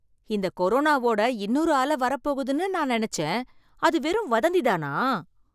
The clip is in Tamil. இந்த கொரோனாவோட இன்னொரு அலை வரப்போகுதுனு நான் நினைச்சேன், அது வெறும் வதந்தி தானா?